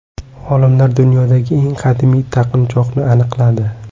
Olimlar dunyodagi eng qadimiy taqinchoqni aniqladi .